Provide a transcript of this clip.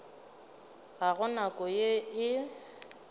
ga go nko yeo e